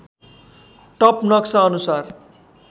top नक्सा अनुसार